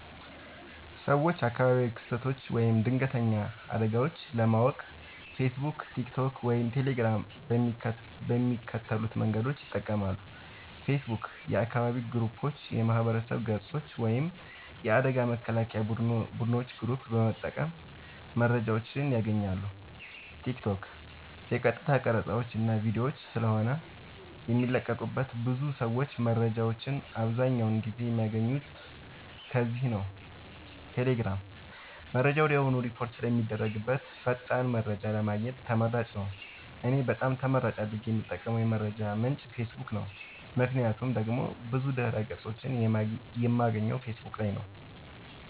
ሰወች አካባቢያዊ ክስተቶች ወይም ድንገተኛ አደጋወች ለማወቅ ፌሰቡክ ቲክቶክ ወይም ቴሌግራም በሚከተሉት መንገዶች ይጠቀማሉ ፌሰቡክ :- የአካባቢ ግሩፖች የማህበረሰብ ገፆች ወይም የአደጋ መከላከያ ቡድኖች ግሩፕ በመጠቀም መረጃወችን ያገኛሉ ቲክቶክ :- የቀጥታ ቀረፃወች እና ቪዲዮወች ስለሆነ የሚለቀቁበት ብዙ ሰወች መረጃወችን አብዛኛውን ጊዜ የሚያገኙት ከዚህ ላይ ነዉ ቴሌግራም :-መረጃ ወድያውኑ ሪፖርት ስለሚደረግበት ፈጣን መረጃን ለማግኘት ተመራጭ ነዉ። እኔ በጣም ተመራጭ አድርጌ የምጠቀምበት የመረጃ ምንጭ ፌሰቡክ ነዉ ምክንያቱም ደግሞ ብዙ ድህረ ገፆችን የማገኘው ፌሰቡክ ላይ ነዉ